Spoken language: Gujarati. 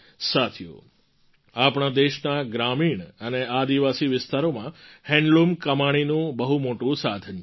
સાથીઓ આપણા દેશના ગ્રામીણ અને આદિવાસી વિસ્તારોમાં હેન્ડલૂમ કમાણીનું બહુ મોટું સાધન છે